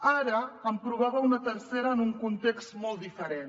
ara en provava un tercer en un context molt diferent